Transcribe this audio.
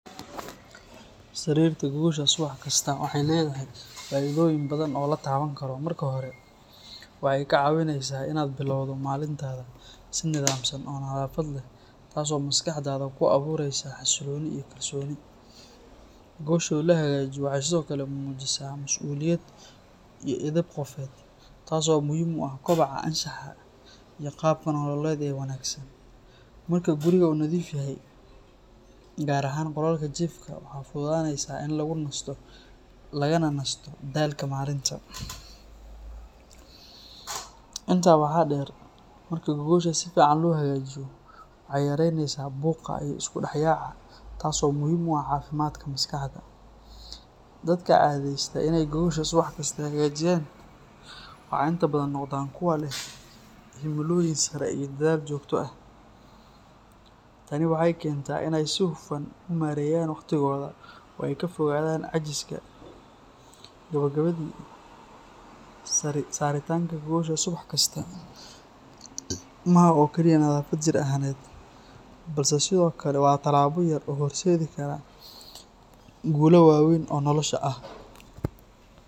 Sariirta subax walbo waxeey ledahay faido badan, si nadafan, waxeey mujisa masuuliyadeyda, qaab nololeed wanagsan, waxaa fududanesa in lagu nasto, waxaa deer waxeey yareneysa buuqa, dadka cadeste inaay hagaajiyaan, kuwa leh himilo sare, inaay nareyaan waqtigoida, saritaanka gogosha waa tilaabo yar oo hor seedi kara guulo waweyna oo nolosha ah.